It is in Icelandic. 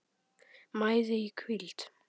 mæði í hvíld